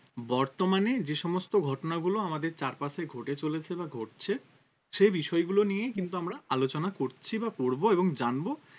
বর্তমানে যে সমস্ত ঘটনাগুলো আমাদের চারপাশে ঘটে চলেছে বা ঘটছে সেই বিষয়গুলো নিয়েই কিন্তু আমরা আলোচনা করছি বা করব এবং জানব